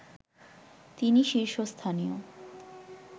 তিনি শীর্ষস্থানীয়